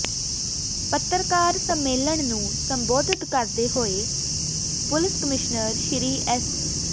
ਪੱਤਰਕਾਰ ਸੰਮੇਲਨ ਨੂੰ ਸੰਬੋਧਨ ਕਰਦੇ ਹੋਏ ਪੁਲਿਸਕਮਿਸ਼ਨਰ ਸ੍ਰੀ ਐਸ